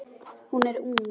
Hún er ung.